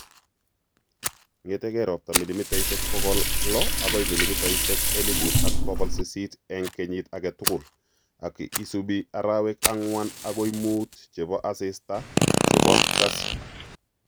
Ng'eetyee ropta milimitaisyek pogol lo agoi milimitaisyek eliphuut al pogol sisiit eng' kenyiit age tugul, ak ki isubi arawek ang'wan agoi muut che po asiista che bo kasyu